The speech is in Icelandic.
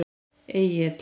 Egill